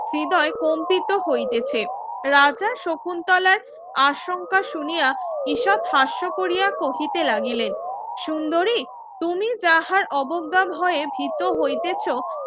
হৃদয় কম্পিত হইতেছে রাজা শকুন্তলার আশঙ্কা শুনিয়া ঈষৎ হাস্য কোরিয়া কহিতে লাগিলেন সুন্দরী তুমি যাহার অবজ্ঞা ভয়ে ভীত হইতেছ